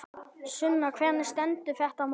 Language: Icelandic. Sunna, hvernig stendur þetta mál?